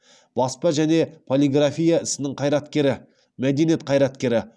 баспа және полиграфия ісінің қайраткері мәдениет қайраткері